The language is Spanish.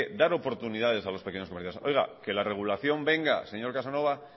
dar oportunidades a los pequeños comercios oiga que la regulación venga señor casanova